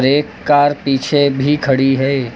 एक कार पीछे भी खड़ी है।